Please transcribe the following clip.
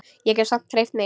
Ég get samt hreyft mig.